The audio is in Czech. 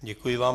Děkuji vám.